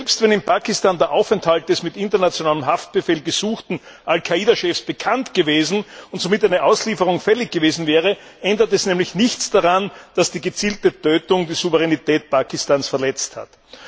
Selbst wenn in Pakistan der Aufenthalt des mit internationalem Haftbefehl gesuchten Al Qaida Chefs bekannt und somit eine Auslieferung fällig gewesen wäre, ändert das nämlich nichts daran, dass die gezielte Tötung die Souveränität Pakistans verletzt hat.